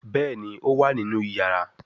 Béèni o wá nínú iyàrá.